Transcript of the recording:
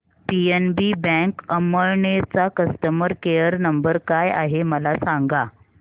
PNB bank Amalner चा customer care number काय आहे मला सांगा